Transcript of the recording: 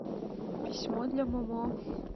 письмо для момо